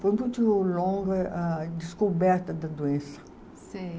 Foi muito longa a descoberta da doença. Sei